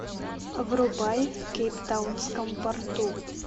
врубай в кейптаунском порту